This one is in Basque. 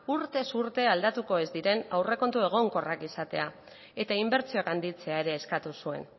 urtez urte aldatuko ez diren aurrekontu egonkorrak izatea eta inbertsioak handitzea ere eskatu zuen